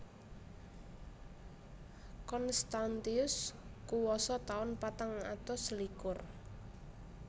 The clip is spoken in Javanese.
Constantius kuwasa taun patang atus selikur